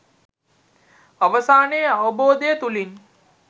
අවසානයේ අවබෝධය තුලින්